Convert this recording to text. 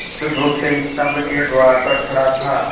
बुधगुप्त स्तंभ के द्वार पर खड़ा था